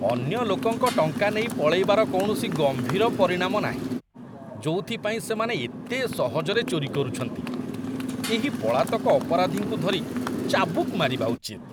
ଅନ୍ୟ ଲୋକଙ୍କ ଟଙ୍କା ନେଇ ପଳେଇବାର କୌଣସି ଗମ୍ଭୀର ପରିଣାମ ନାହିଁ, ଯୋଉଥିପାଇଁ ସେମାନେ ଏତେ ସହଜରେ ଚୋରି କରୁଛନ୍ତି। ଏହି ପଳାତକ ଅପରାଧୀଙ୍କୁ ଧରି ଚାବୁକ୍‌ ମାରିବା ଉଚିତ।